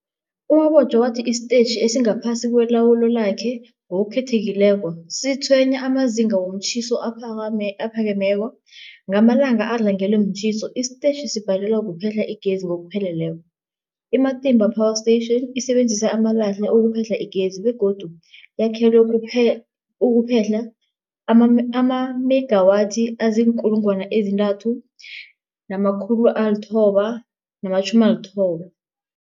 U-Mabotja wathi isitetjhi esingaphasi kwelawulo lakhe, ngokukhethekileko, sitshwenywa mazinga womtjhiso aphakemeko. Ngamalanga adlangelwe mtjhiso, isitetjhi sibhalelwa kuphehla igezi ngokupheleleko. I-Matimba Power Station isebenzisa amalahle ukuphehla igezi begodu yakhelwe ukuphehla amamegawathi azii-3990